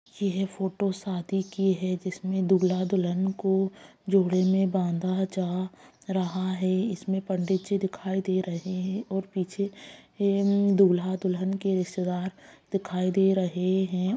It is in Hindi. यह फोटो शादी की है जिसमें दूल्हा-दुल्हन को जोड़े में बांधा जा रहा है इसमें पंडित जी दिखाई दे रहें हैं और पीछे दूल्हा-दुल्हन के रिश्तेदार दिखाई दे रहें हैं।